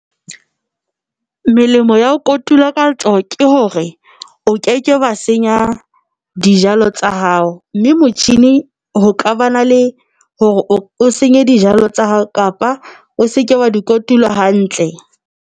Melemo ya ho kotula ka letsoho ke hore o ke ke wa senya dijalo tsa hao, mme motjhini ho ka ba na le hore o senye dijalo tsa hao kapa o seke wa di kotulo hantle.